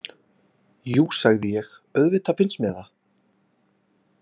Jú, sagði ég, auðvitað finnst mér það